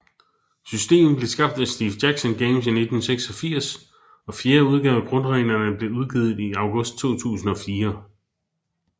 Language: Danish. Systemet blev skabt af Steve Jackson Games i 1986 og fjerde udgave af grundreglerne blev udgivet i August 2004